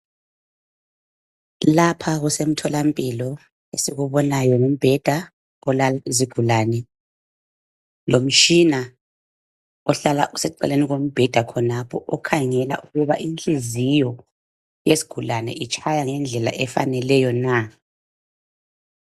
Lapha kusemtholampilo, esikubonayo ngumbheda olala izigulane, lomtshina ohlala useceleni kombheda khonapho, okhangela ukuba inhliziyo yesigulane itshaya ngendlela efaneleyo na,